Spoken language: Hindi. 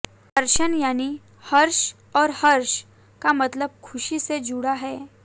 हर्षण यानी हर्ष और हर्ष का मतलब खुशी से जुड़ा है